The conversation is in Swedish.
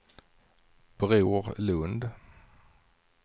Bror Lundh